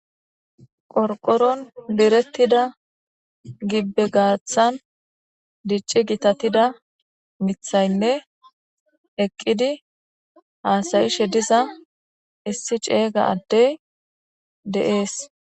Qorqoron direttida gibbe gaathan dicci gitatida mithaynne eqqidi haasayishe diza issi ceeyga addey de7ees.